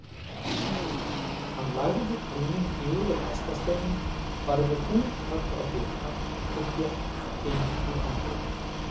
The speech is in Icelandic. Hann lagði tauminn yfir hestasteininn, barði þung högg á dyrnar og gekk inn í anddyrið.